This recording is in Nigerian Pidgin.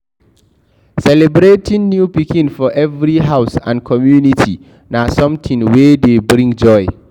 Celebrating new pikin for every house and community na something wey dey bring joy